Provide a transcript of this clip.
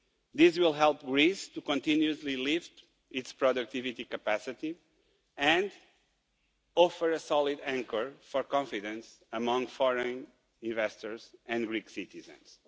These will help Greece to continuously lift its productivity capacity and offer a solid anchor for confidence amongst foreign investors and Greek citizens.